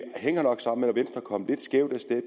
hænger nok sammen med at venstre kom lidt skævt af sted